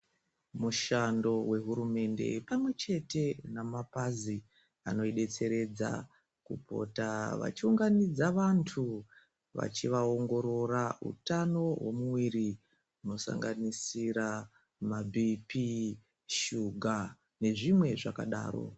Mushando wehurumende pamwechete namapazi anoidetseredza kupota vachiunganidza vantu vachivaongorora hutano hwomiviri hunosanganisira mabhipi , shuga nezvimwe zvakadaro.